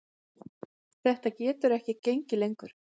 Þetta getur ekki gengið lengur.